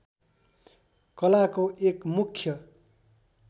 कलाको एक मुख्य